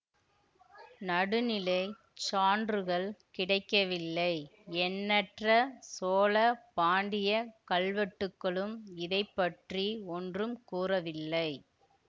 நடுநிலைச் சான்றுகள் கிடைக்கவில்லை எண்ணற்ற சோழ பாண்டிய கல்வெட்டுக்களும் இதை பற்றி ஒன்றும் கூறவில்லை